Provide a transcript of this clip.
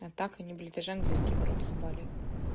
а так они блядь ты же английский в рот ебали